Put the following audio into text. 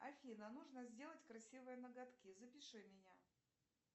афина нужно сделать красивые ноготки запиши меня